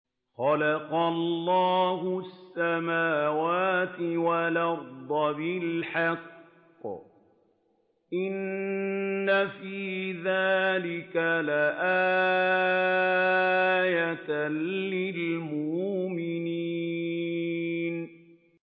خَلَقَ اللَّهُ السَّمَاوَاتِ وَالْأَرْضَ بِالْحَقِّ ۚ إِنَّ فِي ذَٰلِكَ لَآيَةً لِّلْمُؤْمِنِينَ